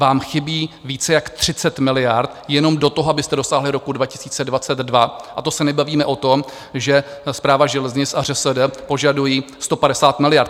Vám chybí více jak 30 miliard jenom do toho, abyste dosáhli roku 2022, a to se nebavíme o tom, že Správa železnic a ŘSD požadují 150 miliard.